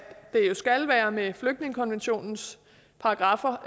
det jo skal være være flygtningekonventionens paragraffer